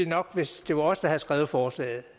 nok hvis det var os der havde skrevet forslaget